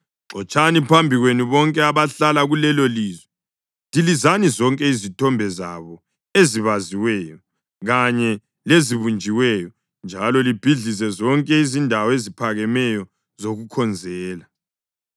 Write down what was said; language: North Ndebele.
xotshani phambi kwenu bonke abahlala kulelolizwe. Dilizani zonke izithombe zabo ezibaziweyo kanye lezibunjiweyo, njalo libhidlize zonke izindawo eziphakemeyo zokukhonzela.